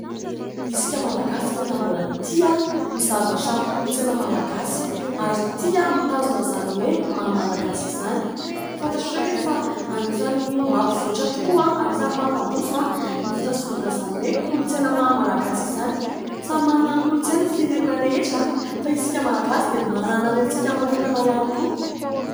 Isika malagasy dia tena mbola tia ny zavatra kolontsaina malagasy ary tia mitazona izany hoe mahamalagasy izany. Fantatrareo ve fa anisany mampivoatra tokoa, anisany mampandroso ny fitazomana izany hoe kolontsaina mahamalagasy izany ? Samy manana ny kolontsaina ny firena rehetra fa isika malagasy dia manana ny antsika manokana ihany koa.